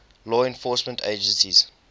law enforcement agencies